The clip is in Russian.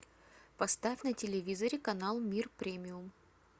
поставь на телевизоре канал мир премиум